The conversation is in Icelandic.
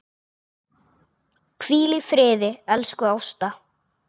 Hvíl í friði, elsku Ásta.